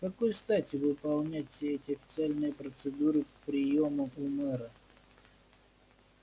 с какой стати выполнять все эти официальные процедуры приёма у мэра